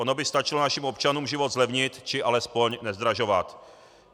Ono by stačilo našim občanům život zlevnit, či alespoň nezdražovat.